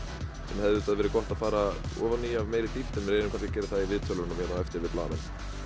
sem hefði verið gott að fara ofan í af meiri dýpt en við reynum kannski að gera það í viðtölunum hérna á eftir við blaðamenn